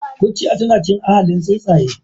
Kurciya tana cikin ahalin tsuntsaye.